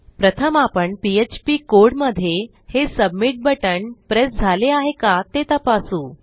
प्रथम आपण पीएचपी कोडमधे हे सबमिट बटण प्रेस झाले आहे का ते तपासू